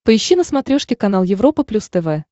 поищи на смотрешке канал европа плюс тв